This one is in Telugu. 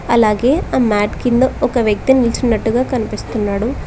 అలాగే ఆ మ్యాట్ కింద ఒక వ్యక్తి నీల్చున్నట్టుగా కనిపిస్తున్నాడు.